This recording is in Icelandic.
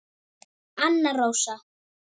Anna Rósa.